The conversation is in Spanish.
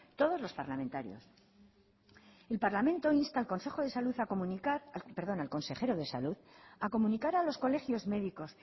todos los parlamentarios el parlamento insta al consejo de salud a comunicar perdón al consejero de salud a comunicar a los colegios médicos